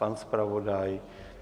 Pan zpravodaj?